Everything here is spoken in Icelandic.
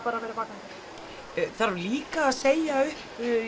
bara verið vakandi þarf líka að segja upp